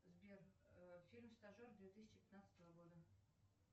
сбер фильм стажер две тысячи пятнадцатого года